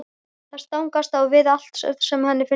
Það stangast á við allt sem henni finnst rétt.